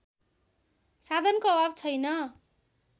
साधनको अभाव छैन